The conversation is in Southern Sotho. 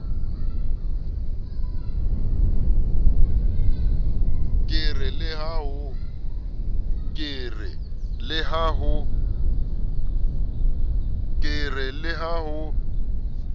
ke re le ha ho